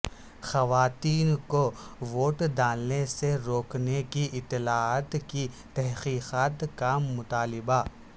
خواتین کو ووٹ ڈالنے سے روکنے کی اطلاعات کی تحقیقات کا مطالبہ